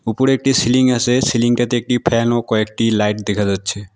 উপরে একটি সিলিং আছে সিলিংটাতে একটি ফ্যান ও কয়েকটি লাইট দেখা যাচ্ছে।